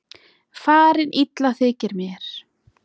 Farin illa þykir mér.